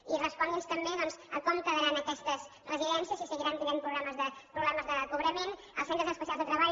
i respongui’ns també doncs com quedaran aquestes residències si seguiran tenint problemes de cobrament els centres especials de treball